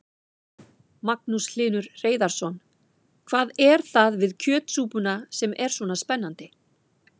Magnús Hlynur Hreiðarsson: Hvað er það við kjötsúpuna sem er svona spennandi?